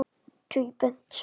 Tvíbent sögn.